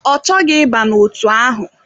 Ọ chọghị ịba n'otu ahụ.